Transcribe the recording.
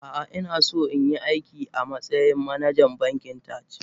Ah ah inaso inyi aiki amatsayin manajan bankin Taj.